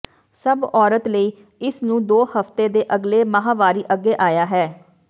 ਸਭ ਔਰਤ ਲਈ ਇਸ ਨੂੰ ਦੋ ਹਫਤੇ ਦੇ ਅਗਲੇ ਮਾਹਵਾਰੀ ਅੱਗੇ ਆਇਆ ਹੈ